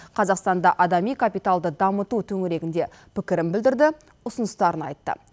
қазақстанда адами капиталды дамыту төңірегінде пікірін білдірді ұсыныстарын айтты